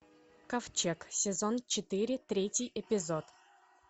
ковчег сезон четыре третий эпизод